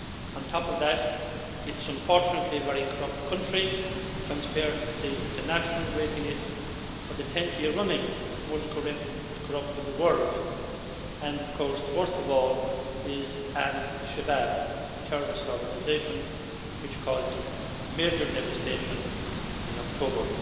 On top of that, it is unfortunately a very corrupt country, with Transparency International rating it for the tenth year running as the most corrupt in the world, and of course the worst of all is al Shabaab, the terrorist organisation which caused major devastation in October.